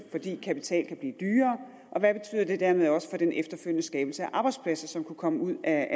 fordi kapital kan blive dyrere og hvad det dermed også betyder for den efterfølgende skabelse af arbejdspladser som kunne komme ud af